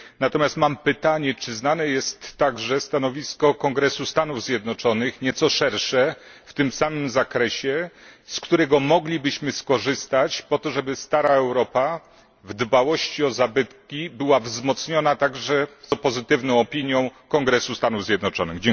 Natomiast mam pytanie czy znane jest także stanowisko Kongresu Stanów Zjednoczonych, nieco szersze, w tym samym zakresie, z którego moglibyśmy skorzystać po to, żeby stara Europa w dbałości o zabytki była wzmocniona także pozytywną opinią Kongresu Stanów Zjednoczonych?